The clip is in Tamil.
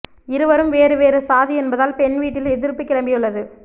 இருவரும் வேறு வேறு சாதி என்பதால் பெண் வீட்டில் எதிர்ப்பு கிளம்பியுள்ளது